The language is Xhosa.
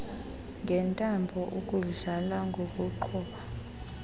ngentambo ukudlala ngokuqhuba